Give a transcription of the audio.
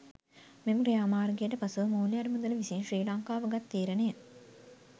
මෙම ක්‍රියාමාර්ගයට පසුව මූල්‍ය අරමුදල විසින් ශ්‍රී ලංකාව ගත් තීරණය